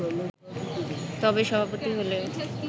তবে, সভাপতি হলেও